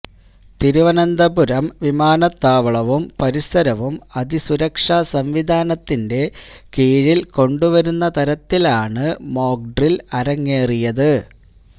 തിരുവനന്തപുരം വിമാനത്താവളവും പരിസരവും അതിസുരക്ഷ സംവിധാനത്തിൻെറ കീഴില് കൊണ്ടുവരുന്ന തരത്തിലാണ് മോക്ഡ്രില് അരങ്ങേറിയത്